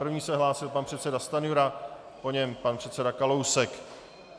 První se hlásil pan předseda Stanjura, po něm pan předseda Kalousek.